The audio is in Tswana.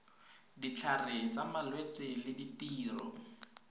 ditlhare tsa malwetse le ditiro